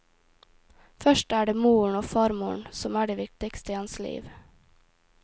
Først er det moren og farmoren som er de viktige i hans liv.